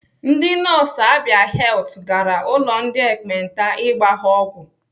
Ndị nọọsụ Abia Health gara ụlọ ndị ekpenta ịgba ha ọgwụ.